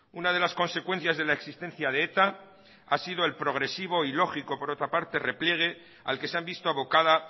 una de las consecuencias de la existencia de eta ha sido el progresivo y lógico por otra parte repliegue al que se han visto abocada